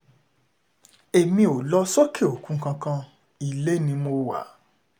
èmi ò lọ sókè òkun kankan ilé ni mo wà